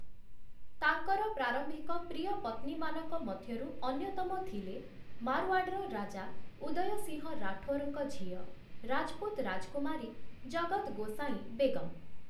ତାଙ୍କର ପ୍ରାରମ୍ଭିକ ପ୍ରିୟ ପତ୍ନୀମାନଙ୍କ ମଧ୍ୟରୁ ଅନ୍ୟତମ ଥିଲେ, ମାରୱାଡ଼୍‌ର ରାଜା ଉଦୟ ସିଂହ ରାଠୋରଙ୍କ ଝିଅ, ରାଜପୁତ ରାଜକୁମାରୀ, ଜଗତ ଗୋସାଇଁ ବେଗମ୍ ।